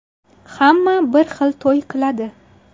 Hamma bir xil to‘y qiladi.